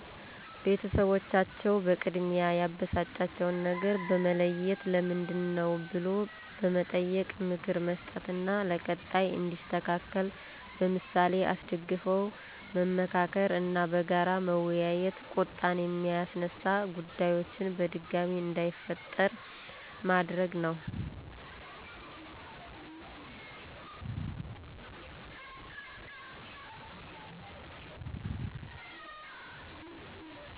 ቤተሰቦቻቸው በቅድሚያ ያበሳጫቸውን ነገር በመለየት ለምንድነው ብሎ በመጠየቅ ምክር መስጠት እና ለቀጣይ እንዲስተካከል በምሳሌ አስደግፈው መመካከር እና በጋራ በመወያየት ቁጣን የሚያስነሳ ጉዳዮችን በድጋሜ እንዳይፈጠር ማድረግ ነው።